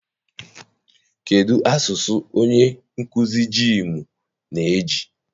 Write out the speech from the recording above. Kedụ asụsụ onye nkụzi jiimụ na-eji?